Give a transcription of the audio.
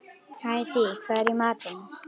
Hædý, hvað er í matinn?